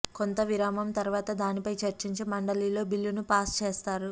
కొంత విరామం తర్వాత దానిపై చర్చించి మండలిలో బిల్లును పాస్ చేస్తారు